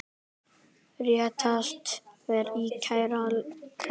Réttast væri að kæra þetta.